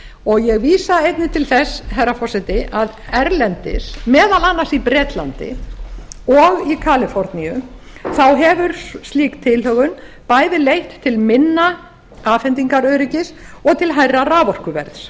og ég vísa einnig til þess herra forseti að erlendis meðal annars í bretlandi og í kaliforníu hefur slík tilhögun bæði leitt til minna afhendingaröryggis og hærra raforkuverðs